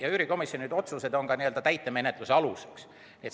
Ja üürikomisjoni otsused on täitemenetluse aluseks.